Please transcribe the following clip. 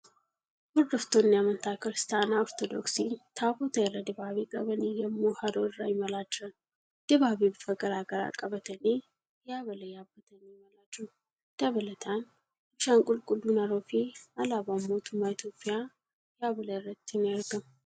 Hodoftaanni amantaa Kiristaanaa Ortoodooksii Taabota irra dibaabee qabanii yemmuu haroo irra imalaa jiran. Dibaabee bifa garagaraa qabatanii yaabala yaabbatanii imalaa jiru. Dabalataan, bishaan qulqulluun haroofi alaabaan mootummaaa Itiyoophiyaa yaabala irratti ni argama.